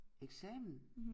Eksamen